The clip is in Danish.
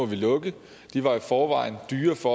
de lukke de var i forvejen dyre for